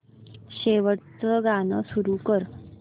शेवटचं गाणं सुरू कर